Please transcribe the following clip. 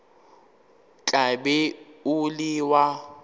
tla be o le wa